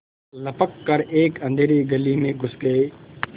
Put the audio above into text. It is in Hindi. लपक कर एक अँधेरी गली में घुस गये